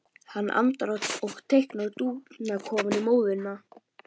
Hann andar á hana og teiknar dúfnakofa í móðuna.